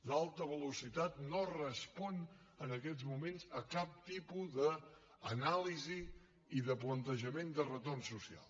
l’alta velocitat no respon en aquests moments a cap tipus d’anàlisi i de plantejament de retorn social